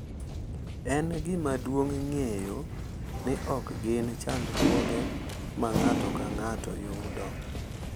En gima duong’ ng’eyo ni ok gin chandruoge ma ng’ato ka ng’ato yudo.